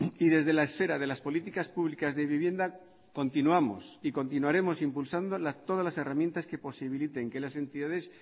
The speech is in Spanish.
y desde la esfera de las políticas públicas de vivienda continuamos y continuaremos impulsando todas las herramientas que posibiliten que las entidades